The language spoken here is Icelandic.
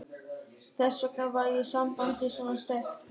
Þess vegna væri sambandið svona sterkt.